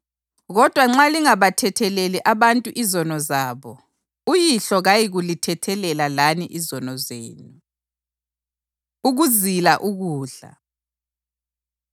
Kodwa nxa lingabathetheleli abantu izono zabo, uYihlo kayikulithethelela lani izono zenu.” Ukuzila Ukudla